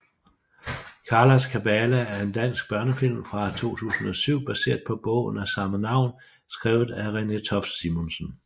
Karlas kabale er en dansk børnefilm fra 2007 baseret på bogen af samme navn skrevet af Renée Toft Simonsen